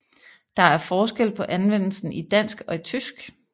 Der er forskel på anvendelsen i dansk og i tysk